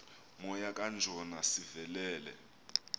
moya kajona sivelele